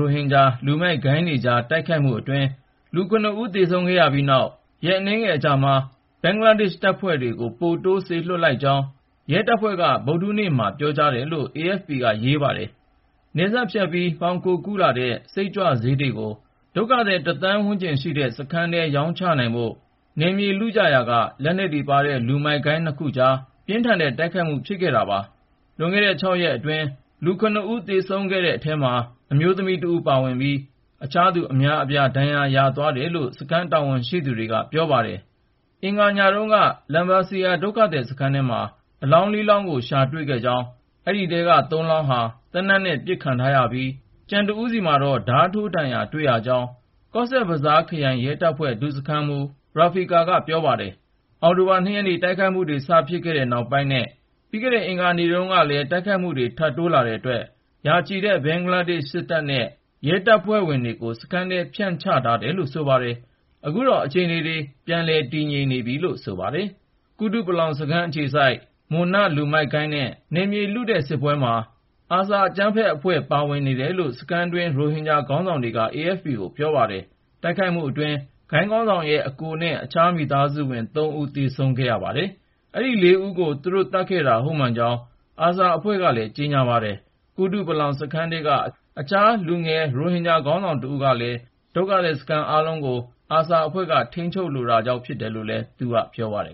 ိုဟင်ဂျာ လူမိုက်ဂိုဏ်းတွေကြား တိုက်ခိုက်မှုအတွင်း လူ (၇)ဦး သေဆုံးခဲ့ရပြီးနောက် ရက်အနည်းငယ်အကြာမှာ ဘင်္ဂလားဒေ့ရှ် တပ်ဖွဲ့ တွေကို ပိုပြီး စေလွှတ်လိုက်ကြောင်း ရဲတပ်ဖွဲ့က ဗုဒ္ဓဟူးနေ့မှာပြောကြားတယ်လို့ AFP က ရေးပါတယ်။ နယ်စပ်ဖြတ်ပြီး မှောင်ခိုကူးလာတဲ့ Methamphetamine စိတ်ကြွ ဆေးတွေကို ဒုက္ခသည် ၁ သန်းဝန်းကျင်ရှိတဲ့ စခန်းထဲ ရောင်းချဖို့ နယ်မြေလုကြရာက လက်နက်တွေပါတဲ့ လူမိုက်ဂိုဏ်းနှစ်ခုကြားမှာ ပြင်းထန်တဲ့ တိုက်ခိုက်မှု ဖြစ်ခဲ့တာပါ။ လွန်ခဲ့တဲ့ ၆ ရက်အတွင်း လူ(၇)ဦး သေဆုံးခဲ့တဲ့အထဲမှာ အမျိုးသမီးတဦး ပါဝင်ပြီး အခြားသူ အများအပြား ဒဏ်ရာရသွားတယ်လို့ စခန်းတာဝန်ရှိသူ တွေက ပြောပါတယ်။ အင်္ဂါနေ့ညတုန်းက Lambasia ဒုက္ခသည်စခန်းထဲမှာ အလောင်း(၄)လောင်းကို ရှာတွေ့ခဲ့ကြောင်း အဲဒီထဲက (၃)လောင်းဟာ သေနတ်နဲ့ ပစ်ခံထားရပြီး ၊ ကျန်တဦးဆီမှာတော့ ဓါးထိုးဒဏ်ရာ တွေ့ရကြောင်း - ကော့ဆက်ဘဇားခရိုင်ရဲတပ်ဖွဲ့ ဒုစခန်းမှူး Rafiqul Islam က ပြောပါတယ်။ အောက်တိုဘာ ၂ ရက်နေ့ တိုက်ခိုက်မှုတွေ စဖြစ်ခဲ့တဲ့နောက်ပိုင်းနဲ့ ပြီးခဲ့တဲ့အင်္ဂါနေ့တုန်းကလည်း တိုက်ခိုက်မှုတွေ ထပ်တိုးလာတဲ့အတွက် ရာချီတဲ့ ဘင်္ဂလားဒေ့ရှ် စစ်တပ်နဲ့ ရဲတပ်ဖွဲ့ကို စခန်းထဲ ဖြန့်ချထားတယ်လို့ ဆိုပါတယ်။ အခုတော့ အခြေအနေတွေ ငြိမ်သက်နေတယ်လို့ ဆိုပါတယ်။ ကုတုပလောင်စခန်း အခြေစိုက် Munna လူမိုက်ဂိုဏ်းနဲ့ နယ်မြေလုတဲ့ စစ်ပွဲမှာ ARSA အကြမ်းဖက်အဖွဲ့ ပါဝင်နေတယ်လို့ စခန်းတွင်းရိုဟင်ဂျာ ခေါင်းဆောင်တွေက AFP ကို ပြောပါတယ်။ တိုက်ခိုက်မှုတွေအတွင်း ဂိုဏ်ခေါင်းဆောင်ရဲ့ အစ်ကိုနဲ့ အခြားမိသားစုဝင် ၃ ဦး သေဆုံးခဲ့ရပါတယ်။ အဲဒီ ၄ ဦးကို သူတို့ သတ်ခဲ့တာ ဟုတ်မှန်ကြောင်း ARSA အဖွဲ့ကလည်း ကြေညာပါတယ်။ ကုတုပလောင် စခန်းထဲက အခြား လူငယ်ရိုဟင်ဂျာ ခေါင်းဆောင်တဦးကလည်း အခုတိုက်ခိုက်မှုတွေရဲ့ နောက်က ွယ်မှာ ARSA အဖွဲ့ ရှိကြောင်း ပြောပါတယ်။ ဒုက္ခသည်စခန်းအားလုံးကို ARSA အဖွဲ့က ထိန်းချုပ်လိုတာ ဖြစ်တယ်လို့လည်း သူက ပြောပါတယ်